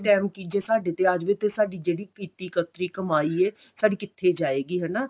time ਕੀ ਜੇ ਸਾਡੇ ਤੇ ਆ ਜਾਵੇ ਤੇ ਸਾਡੀ ਜਿਹੜੀ ਕੀਤੀ ਕੱਤਰੀ ਕਮਾਈ ਏ ਸਾਡੀ ਕਿੱਥੇ ਜਾਏਗੀ ਹਨਾ